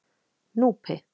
Núpi